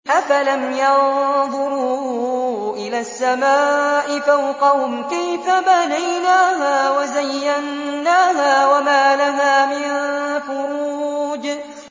أَفَلَمْ يَنظُرُوا إِلَى السَّمَاءِ فَوْقَهُمْ كَيْفَ بَنَيْنَاهَا وَزَيَّنَّاهَا وَمَا لَهَا مِن فُرُوجٍ